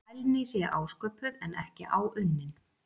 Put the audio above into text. Fælni sé ásköpuð en ekki áunnin.